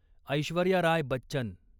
Aishwarya Rai Bachchan